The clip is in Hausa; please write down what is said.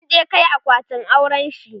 sun je Kai akwatin aurenshi